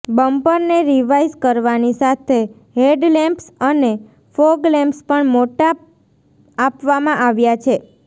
બમ્પરને revise કરવાની સાથે headlamps અને ફોગલેમ્પ્સ પણ મોટા આપવામાં આવ્યાં છે